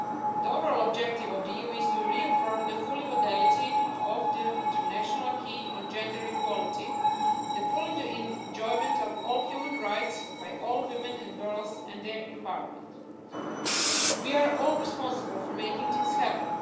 The overall objective of the EU is to reaffirm the full validity of the international acquis on gender equality, the full enjoyment of all human rights by all women and girls, and their environment. We are all responsible for making things happen.